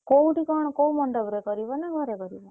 କୋଉଠି କଣ କୋଉ ମଣ୍ଡପ୍ ରେ କରିବ ନା ଘରେ କରିବ?